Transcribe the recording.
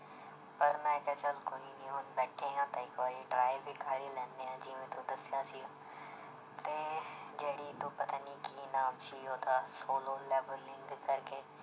ਪਰ ਮੈਂ ਕਿਹਾ ਚੱਲ ਕੋਈ ਨੀ ਹੁਣ ਬੈਠੇ ਹਾਂ ਤਾਂ ਇੱਕ ਵਾਰੀ try ਵੀ ਕਰ ਹੀ ਲੈਨੇ ਹਾਂ ਜਿਵੇਂ ਤੂੰ ਦੱਸਿਆ ਸੀ ਤੇ ਜਿਹੜੀ ਤੂੰ ਪਤਾ ਨੀ ਕੀ ਨਾਮ ਸੀ ਉਹਦਾ ਸੋਲੋ ਲੈਵਲਿੰਗ ਕਰਕੇ